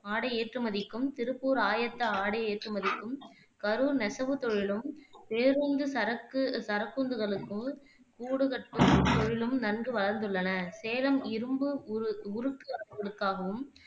ஆடை ஏற்றுமதிக்கும், திருப்பூர் ஆயத்த ஆடை ஏற்றுமதிக்கும், கரூர் நெசவுத் தொழிலும், பேருந்து, சரக்கு சரக்குந்துகளுக்குக் கூடு கட்டும் தொழிலும் நன்கு வளர்ந்துள்ளன. சேலம் இரும்பு உ உருக்கு ஆலைகளுக்காகவும்,